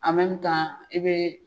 A i bɛj